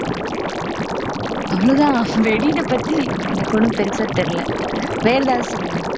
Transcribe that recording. அவ்வளவுதான் வெடினைப் பத்தி எனக்கு ஒண்ணும் பெருசா தெரியலை வேற எதாவது சொல்லுங்க